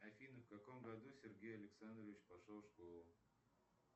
афина в каком году сергей александрович пошел в школу